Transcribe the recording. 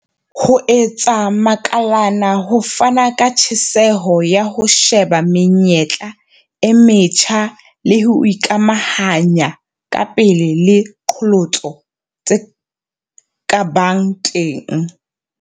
Ho etsa makalana ho fana ka tjheseho ya ho sheba menyetla e metjha le ho ikamahanya kapele le diqholotso tse ka bang teng.